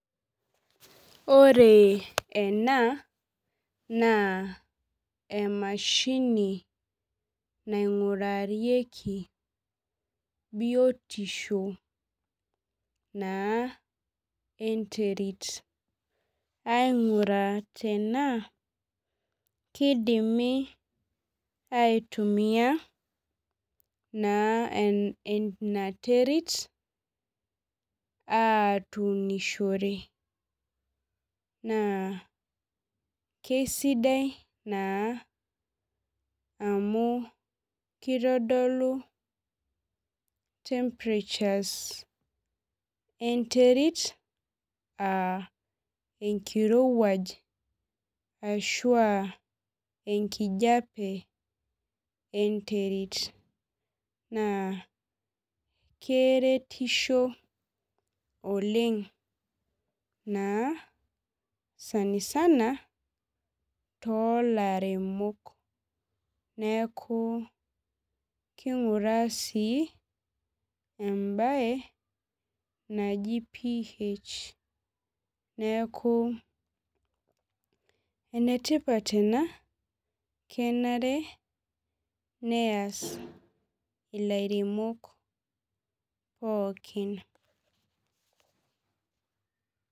Ore ena naa emashini naingurarieki biotisho naa enterit. Ainguraa tenaa kidimi aitumia naa ina terit atunishore. Naa kisidai naa amu, kitodolu temperatures enterit ah enkiruwuaj ashu ah ekijape enterit naa, keretisho oleng naa sanisana toolaremok. Neaku kinguraa sii ebae naji PH. Neaku enetipat ena kenare neas ilairemok pookin.